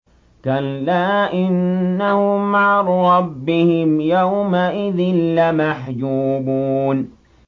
كَلَّا إِنَّهُمْ عَن رَّبِّهِمْ يَوْمَئِذٍ لَّمَحْجُوبُونَ